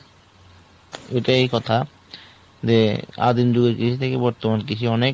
এটা এই কথা যে আদিম যুগে কৃষি থেকে বর্তমান কৃষি অনেক